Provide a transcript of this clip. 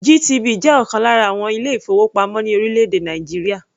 GTB jẹ́ ọ̀kan lára àwọn ilé-ìfowópamọ́ ní orílẹ̀-èdè Nàìjíríà.